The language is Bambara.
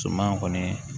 Suman kɔni